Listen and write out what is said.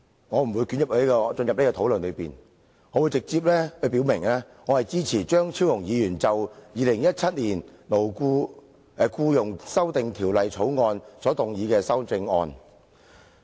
我不會作出這方面的討論，而會直接表明我支持張超雄議員就《2017年僱傭條例草案》提出的修正案。